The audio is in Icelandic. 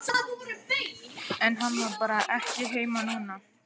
En hann var bara ekki heima núna.